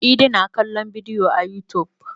Idi na kallon bidiyo a yutub.